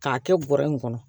K'a kɛ bɔrɛ in kɔnɔ